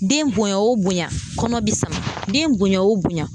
Den bonya o bonya kɔnɔ bɛ sama den bonya o bonya.